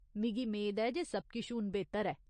मिगी मेद ऐ जे सब किश हून बेह्तर ऐ ?